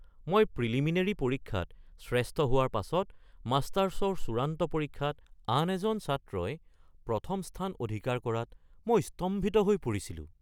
মই প্ৰিলিমিনেৰী পৰীক্ষাত শ্ৰেষ্ঠ হোৱাৰ পাছত মাষ্টাৰছৰ চূড়ান্ত পৰীক্ষাত আন এজন ছাত্ৰই প্ৰথম স্থান অধিকাৰ কৰাত মই স্তম্ভিত হৈ পৰিছিলোঁ।